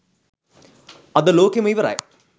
අද ලෝකෙම ඉවරයි.